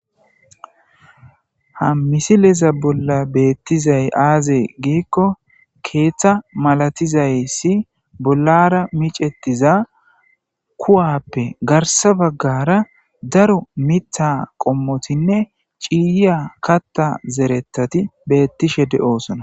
Ha misileza bolla beettizay aaze giikko keeththa malatizayssi bollara micetiza kuwappe garsa baggara daro mitha qommotinne ciiyiya katta zeretati beettishe de7osona.